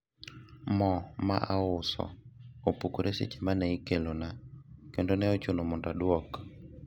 mo mauso ne opukore seche mane ikelona kendo ne ochuno mondo adwok